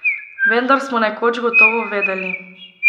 Vendar smo nekoč gotovo vedeli.